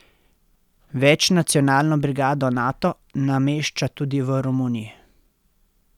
Večnacionalno brigado Nato namešča tudi v Romuniji.